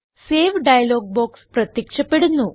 save dialog box പ്രത്യക്ഷപ്പെടുന്നു